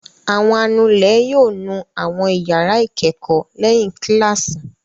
Àwọn anulẹ̀ yóò nu àwọn ìyàrá ìkẹ́kọ̀ọ́ lẹ́yìn kíláàsì.